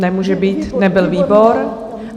Nemůže být, nebyl výbor.